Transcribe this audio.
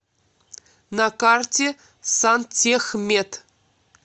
на карте сантехмет